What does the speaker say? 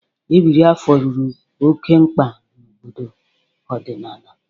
Ebiri afọ rụrụ oke mkpa na obodo ọdịnala.